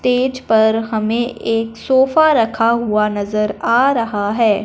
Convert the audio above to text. तेज पर हमें एक सोफा रखा हुआ नजर आ रहा है।